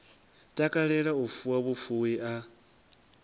takalela u fuwa vhufuwi a